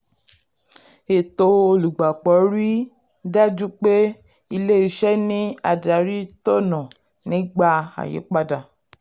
ètò olùgbapò rí i dájú pé ilé-iṣẹ́ ní adarí tọ̀nà nígbà àyípadà.